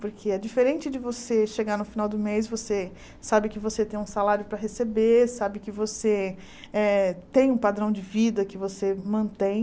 Porque é diferente de você chegar no final do mês, você sabe que você tem um salário para receber, sabe que você eh tem um padrão de vida que você mantém.